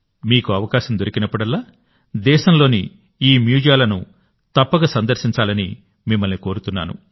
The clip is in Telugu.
మీకు అవకాశం దొరికినప్పుడల్లాదేశంలోని ఈ మ్యూజియాలను తప్పక సందర్శించాలని నేను మిమ్మల్ని కోరుతున్నాను